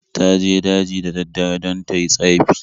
Ta je daji da daddare don ta yi tsafi.